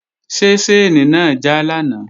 Ṣé ṣáìnì náà já lánàá?